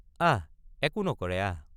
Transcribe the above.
আহএকো নকৰে আহ।